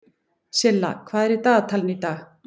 Silla, hvað er í dagatalinu í dag?